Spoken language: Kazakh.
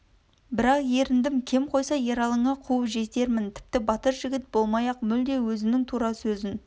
бірақ еріндім кем қойса ералыңа қуып жетермін тіпті батыр жігіт болмай-ақ мүлде өзінің тура сөзін